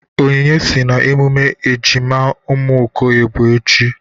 Onyinye sị na emume ejima ụmụ Okoye bụ echi.